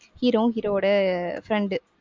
hero வும் hero வோட friend